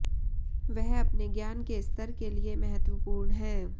वह अपने ज्ञान के स्तर के लिए महत्वपूर्ण है